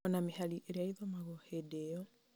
ona mĩhari ĩrĩa ĩthomagwo hĩndĩ ĩyo